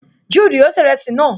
Juudu yóò ṣe ìrẹsì náà